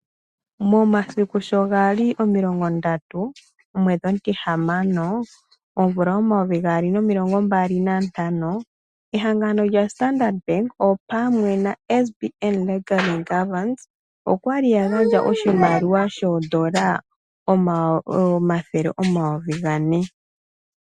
Momasiku sho ga li 30.06.2025 ehangano lyaStandard Bank opwamwe noSBN Legal & Governance okwa li ya gandja oshimaliwa shooN$ 400 0000